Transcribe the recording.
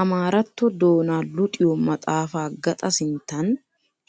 Amaaratto doona luxiyo maxafa gaxa sinttan